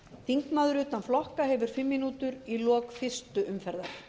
þingmaður utan flokka hefur fimm mínútur við lok fyrstu umferðar